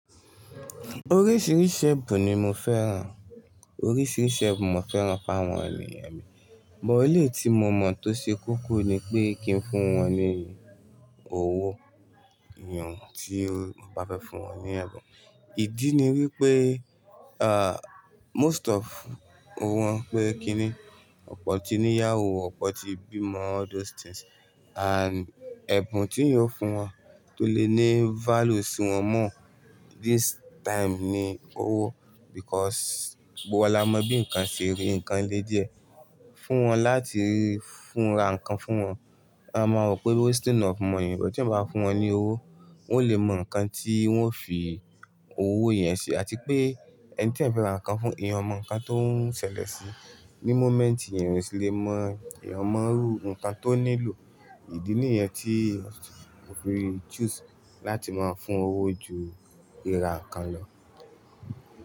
Oríṣiríṣi ẹ̀bùn ni mo fẹ́ràn, oríṣiríṣi ẹ̀bùn mo fẹ́ràn fáwọn ènìyàn mi, but eleyii tí mo mọ̀ tó ṣe kókó ni pé kí n fún wọn ní owó, yàn ti o, mo ba fẹ fún wọn ní èbùn, ìdí ni wípé, ah, most of, wọn pé kí ni, ọ̀pọ̀ tí ni yáwó, ọ̀pọ̀ tí bímọ, all those things. And ẹ̀bùn ti'yán o fún wọn tó lè ní value si wọ́n more, this time ni owó because gbogbo wa la mọ bí nǹkan ṣe rí, nǹkan le díẹ̀, fún wọn láti fúnra nǹkan fún wọn. A máa wo pé wasting of money ni, but t'eeyan bá fún wọn ní owó, wọ́n lè mọ nǹkan tí wọ́n fi owó yẹn ṣe àti pé ẹni t'eeyan fẹ́ ra nǹkan fún, èèyàn o mọ nǹkan tó ń ṣẹlẹ̀ sí i. Ni moment yẹn èèyàn o sì le mọ, èèyàn o mọ'rú nǹkan tó nílò. Ìdí nìyẹn tí mo fi choose láti máa fún owó ju ríra nǹkan lọ.